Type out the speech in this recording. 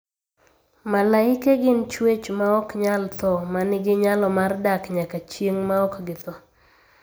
Malaike gin chwech maok nyal tho ma nigi nyalo mar dak nyaka chieng' maok githo.